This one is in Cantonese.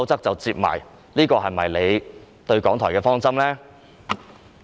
這是否政府對港台的方針呢？